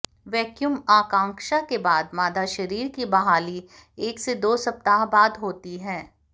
vacuum आकांक्षा के बाद मादा शरीर की बहाली एक से दो सप्ताह बाद होती है